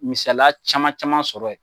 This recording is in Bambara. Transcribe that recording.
Misaliya caman caman sɔrɔ ye